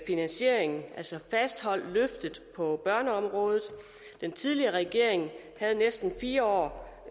finansieringen altså fastholdt løftet på børneområdet den tidligere regering havde næsten fire år